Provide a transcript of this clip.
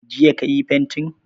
Jiya ka yi fantin?